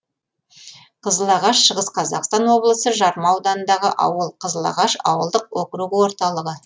қызылағаш шығыс қазақстан облысы жарма ауданындағы ауыл қызылағаш ауылдық округі орталығы